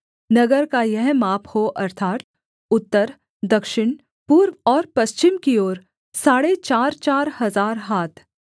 नगर का यह माप हो अर्थात् उत्तर दक्षिण पूर्व और पश्चिम की ओर साढ़े चारचार हजार हाथ